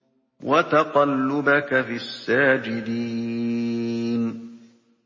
وَتَقَلُّبَكَ فِي السَّاجِدِينَ